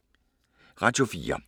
Radio 4